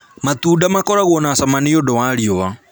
Matunda makoragwo na cama nĩũndũ wa riũa